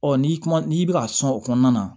Ɔ n'i kuma n'i bɛ ka sɔn o kɔnɔna na